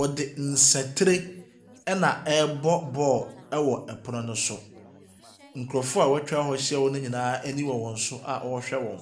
Ɔde nsatere ɛna ɛɛbɔ bɔɔl ɛwɔ ɛpono no so. Nkorɔfoɔ wɛtwa hɔ ɛhyia no nyinaa ɛni wɔ wɔn so a ɔɔhwɛ wɔn.